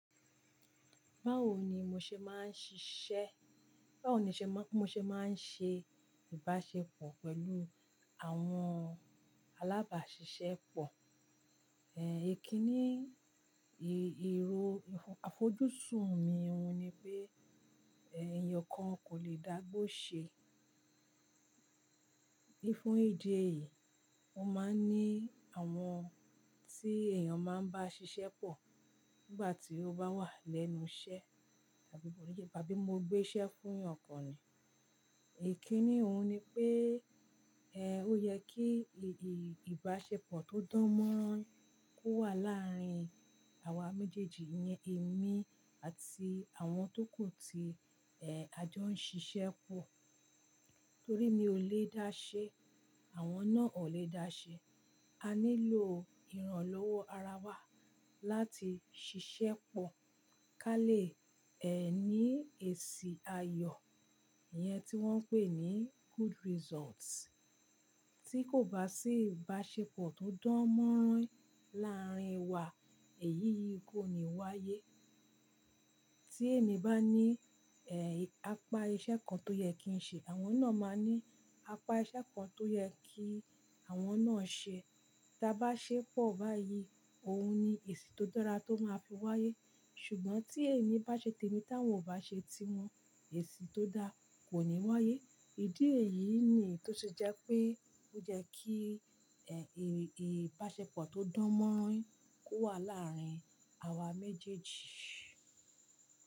Báwo ni mo ṣe máa ń ṣiṣẹ́? Báwo ni ṣe máa ń ṣe ìbáṣepọ̀ pẹ̀lú àwọn alábàáṣiṣẹ́ pọ̀? Ẹ̀ kíni ìró àfojúsùn mi ohun ni pé èèyàn kan kò lè dágbó ṣe. Ní fún ìdí èyí, mo máa ń ní àwọn tí èèyàn máa ń bá ṣiṣẹ́ pọ̀ nígbà tí ó bá wà lẹ́nu iṣẹ́ tàbí mo gbé iṣẹ́ fún èèyàn kan ni. Ẹ̀ kíni òun ni pé ó yẹ kí ìbáṣepọ̀ tó dán mọ́rán ko wà láàrin àwa méjèèjì, iyẹn èmi àti àwọn tó kù tí a jọ ń ṣiṣẹ́ pọ̀. Torí mi ò lè dáṣe, àwọn náà wòn lè dáṣe. A nílò ìrànlọ́wọ́ ara wa láti ṣiṣẹ́ pọ̀ ká lè ní èsì ayọ̀, ìyẹn tí wọ́n ń pè ní good result. Tí kò bá sí ìbáṣepọ̀ tó dán mọ́rán láàrin wa, èyí yìí kò ní wáyé. Tí èmi bá ní apá iṣẹ́ kan tó yẹ kí n ṣe, àwọn náà máa ní apá iṣẹ́ kan tó yẹ kí àwọn náà ṣe. Taa bá ṣẹ́ pọ̀ báyìí, òun ni èsì tó dára tó máa fi wáyé. Ṣùgbọ́n tí èmi bá ṣe te mi táwọn ò bá ṣe ti wọn, èsì tó dá kò ní wáyé. Ìdí èyí ni tó se jẹ́ pé ó jẹ́ kí ìbáṣepọ̀ tó dán mọ́rán ko wà láàrin àwa méjèèjì.